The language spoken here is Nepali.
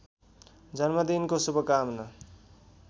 जन्मदिनको शुभकामना